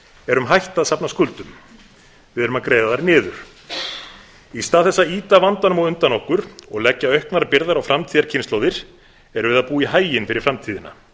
erum hætt að safna skuldum við erum að greiða þær niður í stað þess að ýta vandanum á undan okkur og leggja auknar byrðar á framtíðarkynslóðir erum við að búa í haginn fyrir framtíðina